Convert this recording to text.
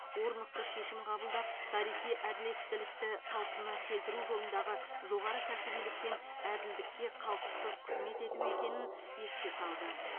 орнықты шешім қабылдап тарихи әділеттілікті қалпына келтіру жолындағы жоғары кәсібилік пен әділдікке қалтқысыз қызмет ету екенін еске салды